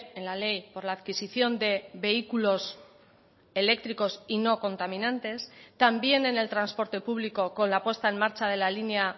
en la ley por la adquisicion de vehículos eléctricos y no contaminantes también en el transporte público con la puesta en marcha de la línea